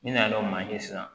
N'i nana manje sisan